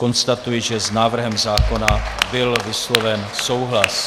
Konstatuji, že s návrhem zákona byl vysloven souhlas.